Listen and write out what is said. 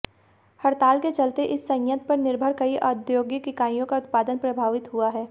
हड़ताल के चलते इस संयंत्र पर निर्भर कई औद्योगिक इकाइयों का उत्पादन प्रभावित हुआ है